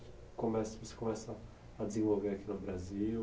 começa você começa a desenvolver aqui no Brasil?